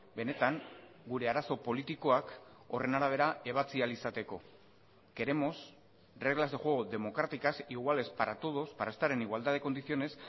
benetan gure arazo politikoak horren arabera ebatzi ahal izateko queremos reglas de juego democráticas iguales para todos para estar en igualdad de condiciones